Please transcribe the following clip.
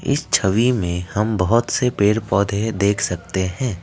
इस छवि में हम बहुत से पेड़ पौधे देख सकते हैं।